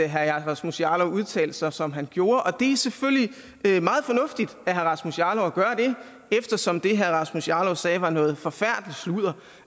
herre rasmus jarlov udtalte sig som han gjorde det er selvfølgelig meget fornuftigt af herre rasmus jarlov at gøre det eftersom det herre rasmus jarlov sagde var noget forfærdeligt sludder